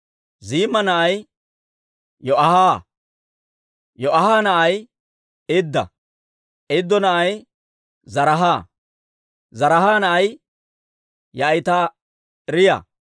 Ziimma na'ay Yo'aaha; Yo'aaha na'ay Idda; Iddo na'ay Zaraaha; Zaraaha na'ay Ya'atiraaya.